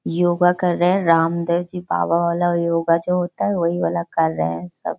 योगा कर रहे है रामदेव जी बाबा वाला योगा जो होता है वही वाला कर रहे हैं सब।